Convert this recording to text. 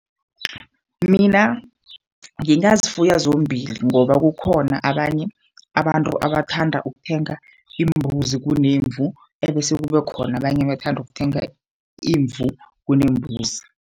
Mina ngingazifuyo zombili ngoba kukhona abanye abantu abathanda ukuthenga imbuzi kunemvu ebese kuba khona abanye abathanda ukuthenga imvu kunembuzi.